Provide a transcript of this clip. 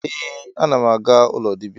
Ee, anam aga ụlọ dibia